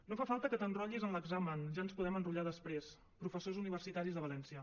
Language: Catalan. no fa falta que t’enrotllis en l’examen ja ens podem enrotllar després professors universitaris de valència